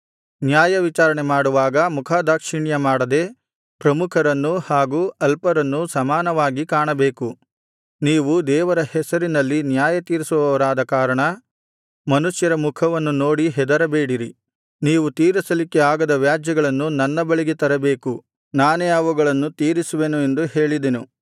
ನ್ಯಾಯವಿಚಾರಣೆ ಮಾಡುವಾಗ ಮುಖದಾಕ್ಷಿಣ್ಯಮಾಡದೆ ಪ್ರಮುಖರನ್ನೂ ಹಾಗು ಅಲ್ಪರನ್ನೂ ಸಮಾನವಾಗಿ ಕಾಣಬೇಕು ನೀವು ದೇವರ ಹೆಸರಿನಲ್ಲಿ ನ್ಯಾಯತೀರಿಸುವವರಾದ ಕಾರಣ ಮನುಷ್ಯರ ಮುಖವನ್ನು ನೋಡಿ ಹೆದರಬೇಡಿರಿ ನೀವು ತೀರಿಸಲಿಕ್ಕೆ ಆಗದ ವ್ಯಾಜ್ಯಗಳನ್ನು ನನ್ನ ಬಳಿಗೆ ತರಬೇಕು ನಾನೇ ಅವುಗಳನ್ನು ತೀರಿಸುವೆನು ಎಂದು ಹೇಳಿದೆನು